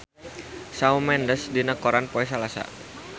Shawn Mendes aya dina koran poe Salasa